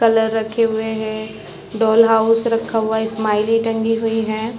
Colour रखे हुए है डॉल हाउस रखा हुआ है स्माइली टंगी हुई है।